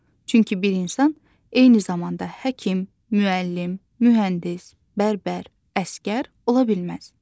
Çünki bir insan eyni zamanda həkim, müəllim, mühəndis, bərbər, əsgər ola bilməz.